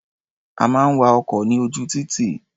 A máa ń wa ọkọ̀ ní ojú títì.